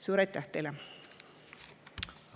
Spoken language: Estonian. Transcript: Suur aitäh teile!